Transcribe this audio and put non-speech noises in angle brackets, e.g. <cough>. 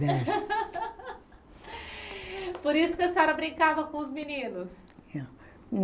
Dez <laughs> Por isso que a senhora brincava com os meninos?